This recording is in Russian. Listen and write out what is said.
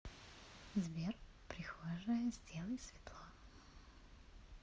сбер прихожая сделай светло